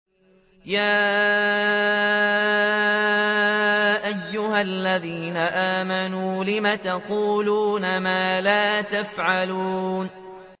يَا أَيُّهَا الَّذِينَ آمَنُوا لِمَ تَقُولُونَ مَا لَا تَفْعَلُونَ